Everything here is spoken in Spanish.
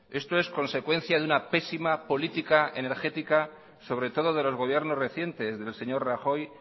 esto es consecuencia de una pésima política energética sobre todo de los gobiernos recientes del señor rajoy